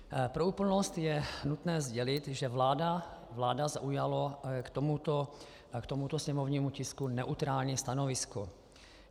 Pro úplnost je nutné sdělit, že vláda zaujala k tomuto sněmovnímu tisku neutrální stanovisko.